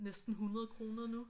Næsten 100 kroner nu